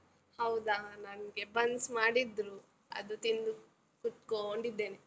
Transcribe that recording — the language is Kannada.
ಹೌದ? ನನ್ಗೆ ಬನ್ಸ್ ಮಾಡಿದ್ರು, ಅದು ತಿಂದು, ಕುತ್ಕೋಂಡಿದ್ದೇನೆ.